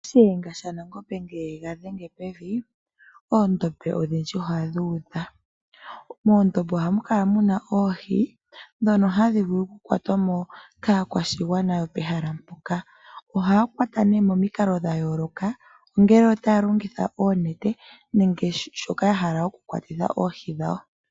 Shiyenga shaNangombe ngele e ga dhenge pevi oondombe odhindji ohadhi kala dhuudha. Moondombe ohamu kala muna oohi dhono tadhi vulu oku kwatwa mo kaakwashigwana yopehala mpoka, ohaya kwata nee momikalo dhayooloka ongele otaya longitha oonete nenge shoka yahala oku kwatitha oohi dhawo.